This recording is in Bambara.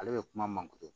Ale bɛ kuma manje